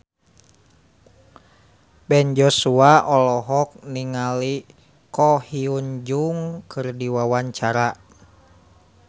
Ben Joshua olohok ningali Ko Hyun Jung keur diwawancara